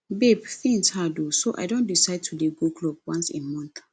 babe things hard oo so i don decide to dey go club once a month